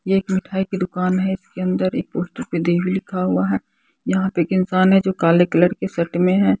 यह एक मिठाई की दुकान है इसके अंदर एक पोस्टर पे देवी लिखा हुआ है यहां पे एक इंसान है जो काले कलर के शर्ट में है।